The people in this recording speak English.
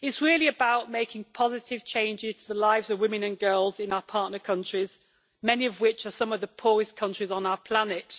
it is really about making positive changes to the lives of women and girls in our partner countries, many of which are some of the poorest countries on our planet.